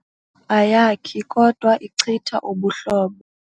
Ayakhi kodwa ichitha ubuhlobo.